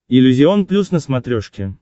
иллюзион плюс на смотрешке